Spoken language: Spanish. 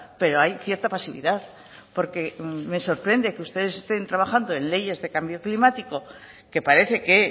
pero hay cierta pasividad porque me sorprende que ustedes estén trabajando en leyes de cambio climático que parece que